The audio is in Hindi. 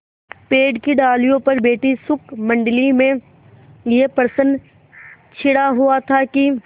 पेड़ की डालियों पर बैठी शुकमंडली में यह प्रश्न छिड़ा हुआ था कि